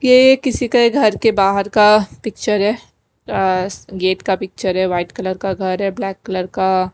ये किसी के घर के बाहर का है आ गेट का पिक्चर है वाइट कलर का घर है ब्लैक कलर का--